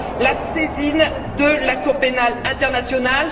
la saisine de la Cour pénale internationale.